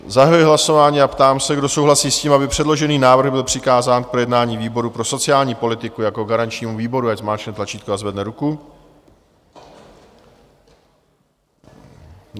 Zahajuji hlasování a ptám se, kdo souhlasí s tím, aby předložený návrh byl přikázán k projednání výboru pro sociální politiku jako garančnímu výboru, ať zmáčkne tlačítko a zvedne ruku.